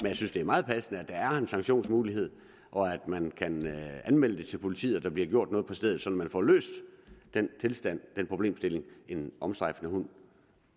jeg synes det er meget passende at der er en sanktionsmulighed og at man kan anmelde det til politiet og der bliver gjort noget på stedet så man får løst den tilstand den problemstilling en omstrejfende hund